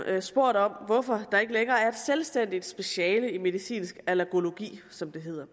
spurgt om hvorfor der ikke længere er et selvstændigt speciale i medicinsk allergologi som det hedder